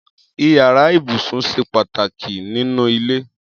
Iyàrá ibúsún ṣé pàtáki ninú ilé